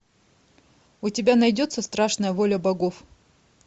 у тебя найдется страшная воля богов